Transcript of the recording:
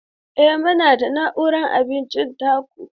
Eh, muna da nau'ikan abincin teku.